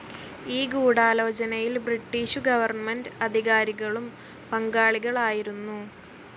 ഈ ഗൂഢാലോചനയിൽ British government അധികാരികളും പങ്കാളികളായിരുന്നു.